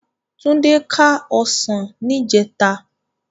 Tunde ká òsán nijètá